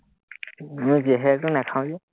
উম জেহেৰটো নাখাওঁ যে